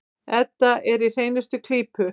Edda er í hreinustu klípu.